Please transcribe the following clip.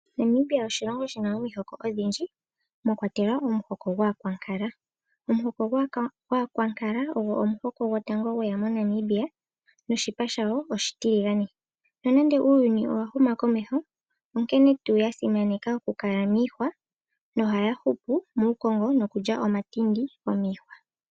Namibia oshilongo shina omihoko odhindji mwakwatelwa omuhoko gwAankwankala . Omuhoko gwAankwankala ogo omuhoko gwotango gweya moNamibia noshipa shawo oshitiligane. Nonande uuyuni owahuma komeho onkene tuu yasimaneka okukala miihwa nohaya hupu muukongo nokulya omatindi go miihwa.